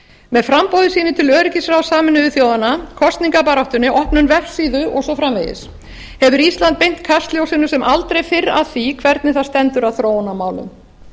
með framboði sínu til öryggisráðs sameinuðu þjóðanna kosningabaráttunni opnun vefsíðu og svo framvegis hefur ísland beint kastljósinu sem aldrei fyrr að því hvernig það stendur að þróunarmálum